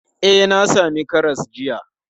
E, na sami karas jiya.